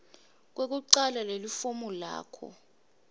lekucala lelifomu lakho